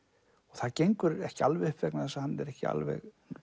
það gengur ekki alveg upp vegna þess að hann er ekki alveg